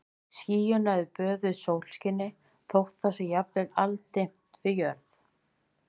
Skýin eru böðuð sólskini þótt það sé jafnvel aldimmt við jörð.